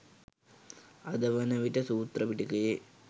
අද වන විට සූත්‍ර පිටකයේ